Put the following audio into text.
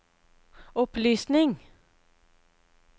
opplysning